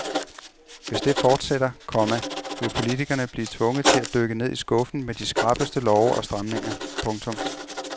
Hvis det fortsætter, komma vil politikerne blive tvunget til at dykke ned i skuffen med de skrappeste love og stramninger. punktum